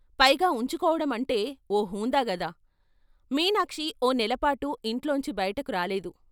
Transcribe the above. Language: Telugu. పైగా ఉంచుకోవడం అంటే ఓ హుందాగదా! మీనాక్షి ఓ నెలపాటు ఇంట్లోంచి బయటకు రాలేదు.